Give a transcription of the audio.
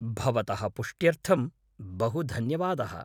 भवतः पुष्ट्यर्थं बहुधन्यवादः।